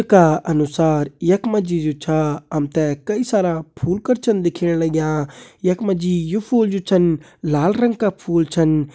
का अनुसार यखमा जी जो छा हमते कई सारा फूल कर छन दिख्येण लाग्यां यखमा जी यू फूल जो छन लाल रंग का फूल छन।